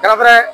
Da fɛnɛ